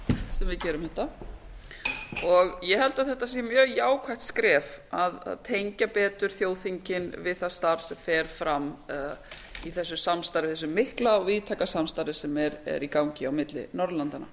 sem við gerum þetta og ég held að þetta sé mjög jákvætt skref að tengja betur þjóðþingið við það starf sem fer fram í þessu mikla og víðtæka samstarfi sem er í gangi á milli norðurlandanna